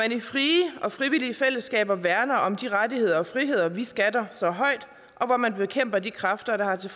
i frie og frivillige fællesskaber værner om de rettigheder og friheder vi skatter så højt og hvor man bekæmper de kræfter der har til